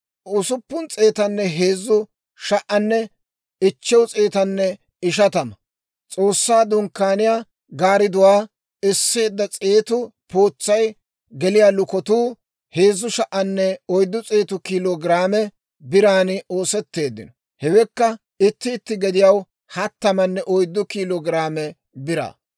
S'oossaa Dunkkaaniyaa gaaridduwaa esseedda s'eetu pootsay geliyaa lukotuu 3,400 kiilo giraame biran oosetteeddino. Hewekka itti itti gediyaw hattamanne oyddu kiilo giraame biraa.